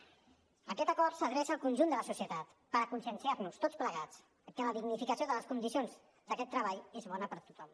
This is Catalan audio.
aquest acord s’adreça al conjunt de la societat per conscienciar nos tots plegats que la dignificació de les condicions d’aquest treball és bona per a tothom